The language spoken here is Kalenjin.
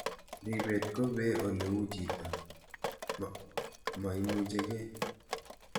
Ripet ko pee ole uu chito ne maimuchikei